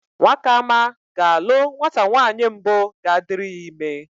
Nwakama ga-alụ nwata nwaanyị mbụ ga-adịrị ya ịme.